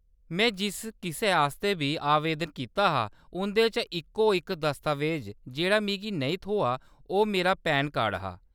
मैं जिस किसै आस्तै बी आवेदन कीता हा, उंʼदे चा इक्को-इक दस्तावेज़ जेह्‌‌ड़ा मिगी नेईं थ्होआ, ओह्‌‌ मेरा पैन कार्ड हा।